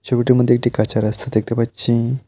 ছবিটির মধ্যে একটি কাঁচা রাস্তা দেখতে পাচ্ছি।